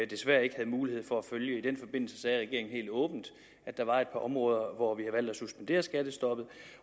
desværre ikke havde mulighed for at følge i den forbindelse sagde regeringen helt åbent at der var et par områder hvor vi valgt at suspendere skattestoppet